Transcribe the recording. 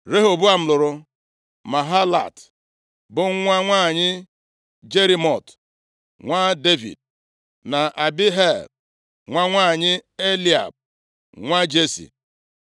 Rehoboam, lụrụ Mahalat, bụ nwa nwanyị Jerimot nwa Devid, na Abihail, nwa nwanyị Eliab, nwa Jesi.